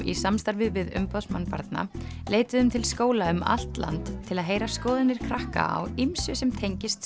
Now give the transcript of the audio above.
í samstarfi við umboðsmann barna leituðum til skóla um allt land til að heyra skoðanir krakka á ýmsu sem tengist